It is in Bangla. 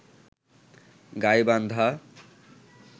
গাইবান্ধা